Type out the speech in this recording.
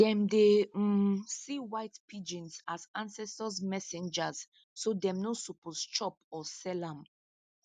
them dey um see white pigeons as ancestors messengers so them no suppose chop or sell am